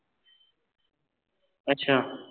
ਅੱਛਾ